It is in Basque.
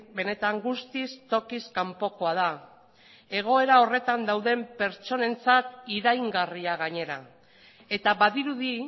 benetan guztiz tokiz kanpokoa da egoera horretan dauden pertsonentzat iraingarria gainera eta badirudi